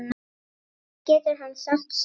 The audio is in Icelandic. Hvað getur hann samt sagt?